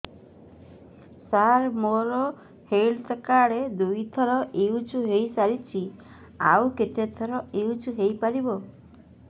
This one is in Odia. ସାର ମୋ ହେଲ୍ଥ କାର୍ଡ ଦୁଇ ଥର ୟୁଜ଼ ହୈ ସାରିଛି ଆଉ କେତେ ଥର ୟୁଜ଼ ହୈ ପାରିବ